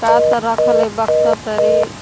का त रखल हइ बक्सा तरी।